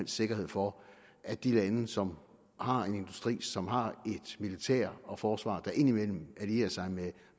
sikkerhed for at de lande som har en industri som har et militær og et forsvar der indimellem allierer sig med